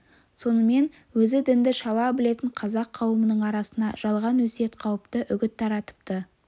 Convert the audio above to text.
сонымен өзі дінді шала білетін қазақ қауымының арасына жалған өсиет қауіпті үгіт таратыпты